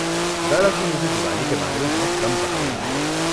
دراصل، مجھے دیوالی کے بارے میں بہت کم پتہ ہے۔